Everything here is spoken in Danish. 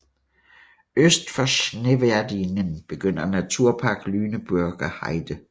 Øst for Schneverdingen begynder Naturpark Lüneburger Heide